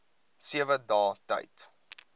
sewe dae tyd